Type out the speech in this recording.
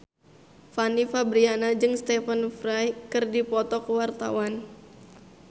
Fanny Fabriana jeung Stephen Fry keur dipoto ku wartawan